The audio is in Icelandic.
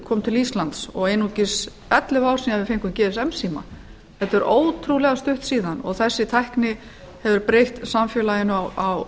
kom til íslands og einungis ellefu ár síðan við fengum gsm síma þetta er ótrúlega stutt síðan og þessi tækni hefur breytt samfélaginu á